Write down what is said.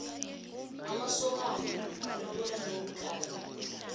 amasokano alobola ngeenkabi